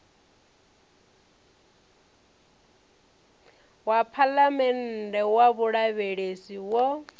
wa phalamennde wa vhulavhelesi wo